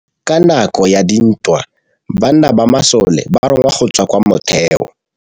Ka nakô ya dintwa banna ba masole ba rongwa go tswa kwa mothêô.